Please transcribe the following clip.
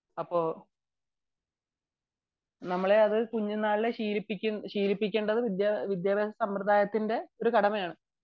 അപ്പൊ നമ്മളെ അത് കുഞ്ഞു നാളിലെ ശീലിപ്പിക്കേണ്ടത് വിദ്യാഭ്യാസ സമ്പ്രദായത്തിന്റെ ഒരു കടമയാണ്